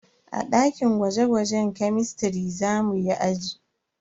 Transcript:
A dakin gwaje-gwaje kemistiri za muyi aji.